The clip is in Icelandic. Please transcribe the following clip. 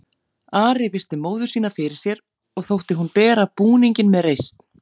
Ari virti móður sína fyrir sér og þótti hún bera búninginn með reisn.